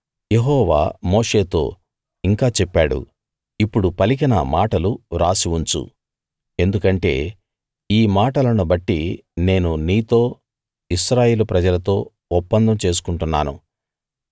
యెహోవా మోషేతో ఇంకా చెప్పాడు ఇప్పుడు పలికిన మాటలు రాసి ఉంచు ఎందుకంటే ఈ మాటలను బట్టి నేను నీతో ఇశ్రాయేలు ప్రజలతో ఒప్పందం చేసుకుంటున్నాను